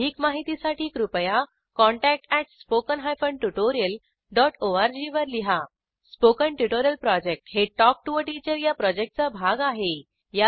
अधिक माहितीसाठी कृपया contact at spoken hyphen tutorial dot org वर लिहा स्पोकन ट्युटोरियल प्रॉजेक्ट हे टॉक टू टीचर या प्रॉजेक्टचा भाग आहे